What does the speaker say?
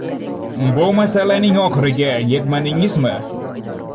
Bu masalaning oxiriga yetmadingizmi?